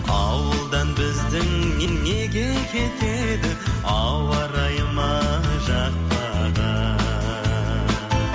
ауылдан біздің неге кетеді ауа райы ма жақпаған